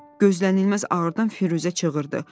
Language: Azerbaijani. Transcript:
Gözlənilməz ağrıdan Firuzə çığırdı.